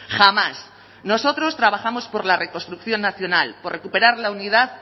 jamás nosotros trabajamos por la reconstrucción nacional por recuperar la unidad